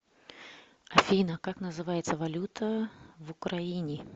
афина как называется валюта в украине